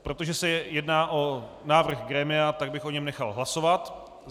Protože se jedná o návrh grémia, tak bych o něm nechal hlasovat.